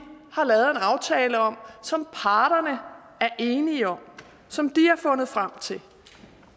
har lavet en aftale om som parterne er enige om og som de har fundet frem til